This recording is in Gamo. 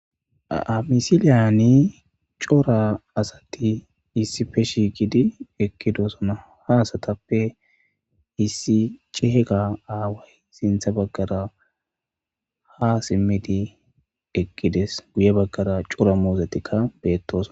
Amisiliyani cora asati issife shiigidi ekkidosona ha asatappe issi cehega aaway sintha baggara ha simmidi eqqides guye baggara cora muusetikka beettos.